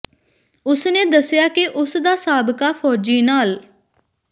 ਉਸ ਨੇ ਦਸਿਆ ਕਿ ਉਸ ਦਾ ਸਾਬਕਾ ਫ਼ੌਜੀ ਨਾਲ